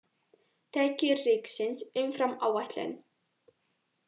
Tekjur ríkisins umfram áætlun